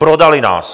Prodali nás.